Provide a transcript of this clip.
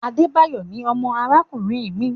Adebayo ní ọmọ arakunrin mi